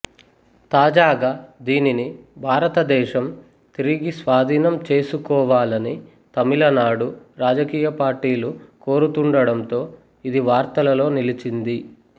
తాజాగా దీనిని భారతదేశం తిరిగి స్వాధీనం చేసుకోవాలని తమిళనాడు రాజకీయ పార్టీలు కోరుతుండటంతో ఇది వార్తలలో నిలిచింది